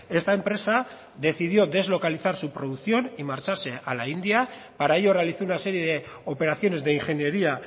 esta empresa decidió deslocalizar su producción y marcharse a la india para ello realizó una serie de operaciones de ingeniería